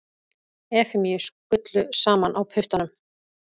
Efemíu skullu saman á puttanum.